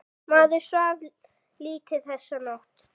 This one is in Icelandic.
Maður svaf lítið þessa nótt.